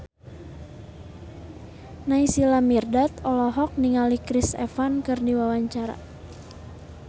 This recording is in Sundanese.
Naysila Mirdad olohok ningali Chris Evans keur diwawancara